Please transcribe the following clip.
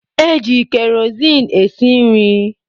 Eji kerozin esi nri.